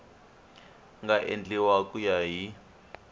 nga endliwa ku ya hi